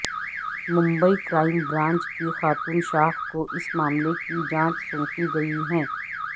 Mumbai crime branch کی خاتون شاخ کو اس معاملے کی جانچ سونپی گئی ہے